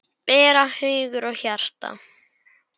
bera hugur og hjarta